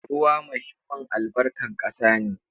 Ruwa muhimmin albarkan ƙasa ne.